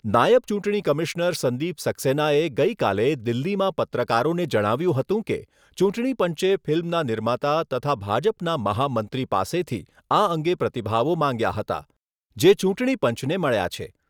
નાયબ ચૂંટણી કમિશનર સંદીપ સક્સેનાએ ગઈકાલે દિલ્હીમાં પત્રકારોને જણાવ્યુંં હતું કે, ચૂંટણીપંચે ફિલ્મના નિર્માતા તથા ભાજપના મહામંત્રી પાસેથી આ અંગે પ્રતિભાવો માગ્યા હતા, જે ચૂંટણી પંચને મળ્યા છે.